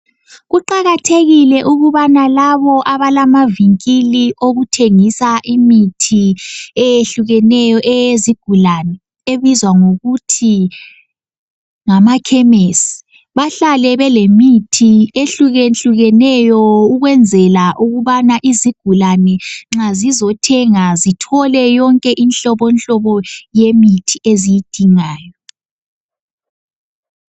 Kuqakathekile ukubana labo abalamavingili okuthengisa imithi eyehlukeneyo eyezigulane ebizwa ngokuthi ngamakhemesi. Bahlale belemithi ehlukehlukeneyo ukwenzela ukuthi nxa isigulane zizothenga zithole inhlobohlobo yemithi eziyidingayo.